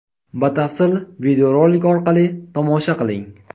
Batafsil videorolik orqali tomosha qiling.